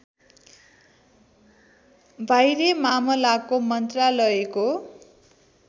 बाह्य मामलाको मन्त्रालयको